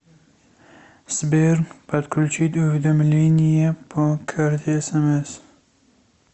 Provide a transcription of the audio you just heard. сбер подключить уведомления по карте смс